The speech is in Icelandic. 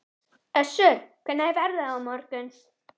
Össur, hvernig er veðrið á morgun?